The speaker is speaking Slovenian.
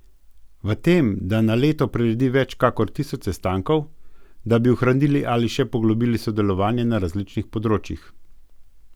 V tem, da na leto priredi več kakor tisoč sestankov, da bi ohranili ali še poglobili sodelovanje na različnih področjih.